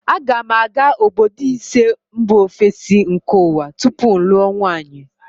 A ga m aga obodo ise mba ofesi nke ụwa tupu m lụọ nwunye